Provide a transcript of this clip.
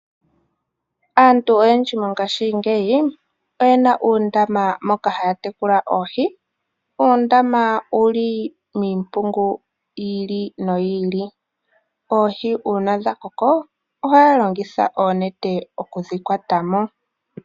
Aantu oyendji mongashingeyi oyena uundama moka haya tekula Oohi, uundama owuli miimpungu yi ili noyi ili. Oohi uuna dhakoko oha yalongitha oonete okudhi kwatamo.